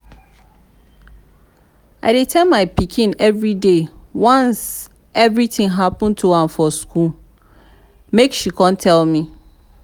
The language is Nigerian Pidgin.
i dey tell my pikin everyday once anything happen to am for school make she come tell me